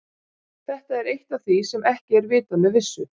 Þetta er eitt af því sem er ekki vitað með vissu.